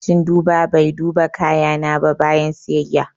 Ma'aikacin duba bai duba kayana ba bayan siyayya.